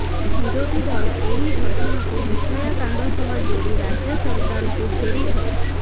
ବିରୋଧୀ ଦଳ ଏହି ଘଟଣାକୁ ନିର୍ଭୟା କାଣ୍ଡ ସହ ଯୋଡି ରାଜ୍ୟ ସରକାରଙ୍କୁ ଘେରିଛନ୍ତି